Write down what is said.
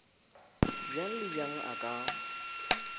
bjang le bjang a ka